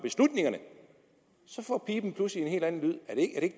får piben pludselig en helt anden lyd